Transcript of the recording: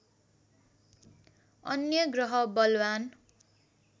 अन्य ग्रह बलवान्